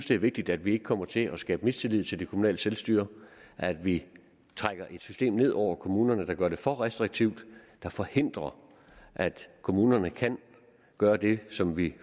det er vigtigt at vi ikke kommer til at skabe mistillid til det kommunale selvstyre at vi ikke trækker et system ned over kommunerne der gør det for restriktivt der forhindrer at kommunerne kan gøre det som vi